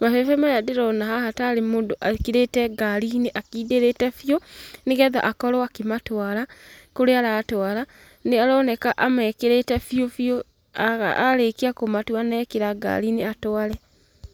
mabebe maya ndĩrona haha ta arĩ mũndũ ekĩrĩte ngari-inĩ akindĩrĩte biũ, nĩgetha akorwo akĩmatwara kũrĩa aratwara. Nĩ aroneka amekĩrĩte biũ biũ arĩkia kũmatua na ekĩra ngari-inĩ atware.